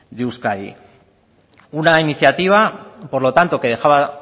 de euskadi una iniciativa por lo tanto que dejaba